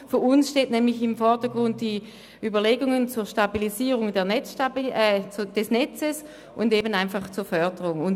Für uns stehen nämlich die Überlegungen zur Stabilisierung des Netzes sowie zur Förderung im Vordergrund.